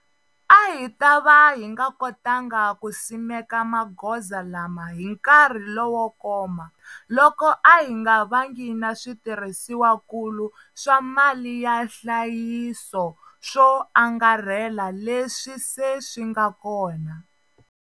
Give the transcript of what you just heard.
A hi ta va hi nga kotangi ku simeka magoza lama hi nkarhi lowo koma loko a hi nga vangi na switirhisiwakulu swa mali ya nhlayiso swo angarhela leswi se swi nga kona.